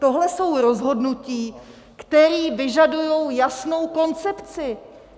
Tohle jsou rozhodnutí, která vyžadují jasnou koncepci.